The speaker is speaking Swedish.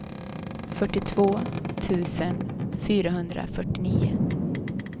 fyrtiotvå tusen fyrahundrafyrtionio